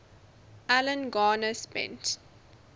alan garner spent